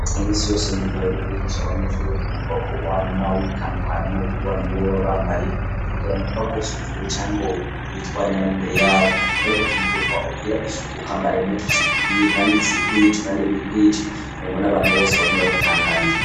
Mukazi kamisi yose mugihe uriko urigisha abanyeshure bukenekwako wama witandukanye no kuba ntuba bambaye kugira ngo ntiba gusuzugure cangwa witware nab'imbere yabo aroko kenewekwa ugira ku kwambara impuzu zigukwiye kandi zikwije kandi wikwigi ugenwa n'abantu bose bagomeko gutangarira